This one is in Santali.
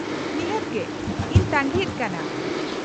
-ᱱᱤᱦᱟᱹᱛ ᱜᱮ ᱾ ᱤᱧ ᱛᱟᱺᱜᱤᱭᱮᱫ ᱠᱟᱱᱟ ᱾